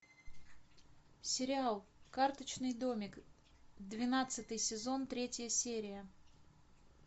сериал карточный домик двенадцатый сезон третья серия